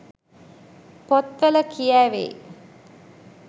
පොත්වල කියැවේ.